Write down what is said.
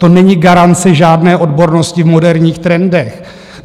To není garance žádné odbornosti v moderních trendech.